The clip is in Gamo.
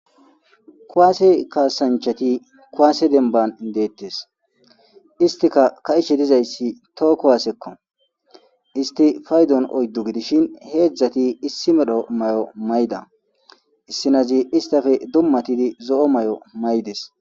KuWaase kaasanchati kuaase demban deettes istika ka'ishe dizayssi tookko waasekko isti faydon oyddu gidishin heedzdzati issi medho may7o mayda issinazi istafe dummatidi zo'o may'o maydes.